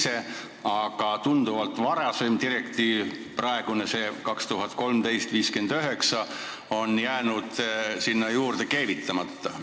See praegune, tunduvalt varasem direktiiv 2013/59 on jäänud sinna külge keevitamata.